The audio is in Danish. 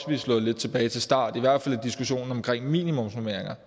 vi er slået lidt tilbage til start i hvert fald i diskussionen om minimumsnormeringer